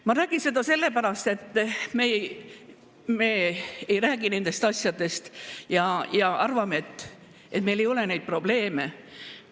Ma räägin seda sellepärast, et me ei räägi nendest asjadest ja arvame, et meil ei ole neid probleeme.